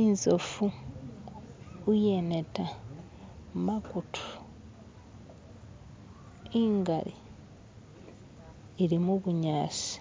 Inzofu iyeneta makutu ingali ilimubunyasi